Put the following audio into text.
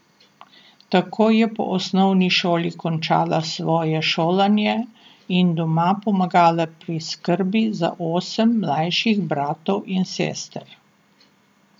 Tako je po osnovni šoli končala svoje šolanje in doma pomagala pri skrbi za osem mlajših bratov in sester.